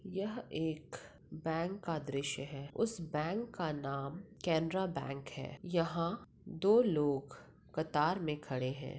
यह एक बैंक का दृश्य है उस बैंक का नाम केनरा बैंक है यहाँ दो लोग कतार मे खड़े है।